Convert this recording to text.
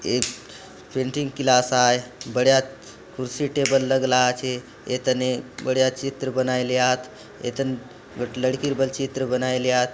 एक painting class आए बड़े आत कुर्सी टेबल लगला आचे ए तने बड़िया चित्र बनाई लियात इतन लड़कीर बल चित्र बनाई लियात।